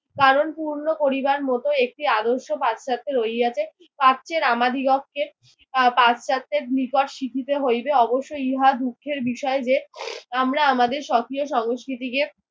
কারণ পূর্ণ করিবার মতই একটি আদর্শ পাশ্চাত্যের রহিয়াছে। প্রচ্যের আমাদিগকে আহ পাশ্চাত্যের নিকট শিখিতে হইবে। অবশ্যই ইহা দুঃখের বিষয় যে আমরা আমাদের সক্রিয় সংস্কৃতিকে